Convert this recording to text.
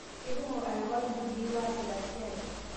Keikumok anapar lmpundii waasita siai